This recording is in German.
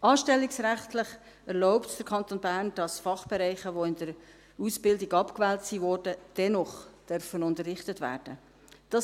Anstellungsrechtlich erlaubt es der Kanton Bern, dass Fachbereiche, die in der Ausbildung abgewählt wurden, dennoch unterrichtet werden dürfen.